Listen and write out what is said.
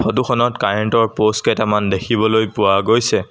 Photo খনত current ৰ post কেইটামান দেখিবলৈ পোৱা গৈছে।